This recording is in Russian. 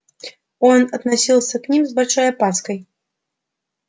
он относился к ним с большой опаской